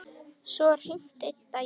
Svo var hringt einn daginn.